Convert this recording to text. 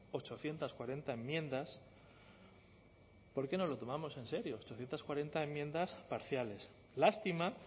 ochocientos cuarenta enmiendas porque nos lo tomamos en serio ochocientos cuarenta enmiendas parciales lástima